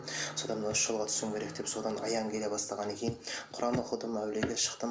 содан мына осы жолға түсуім керек деп содан аян келе бастағаннан кейін құран оқыдым әулиеге шықтым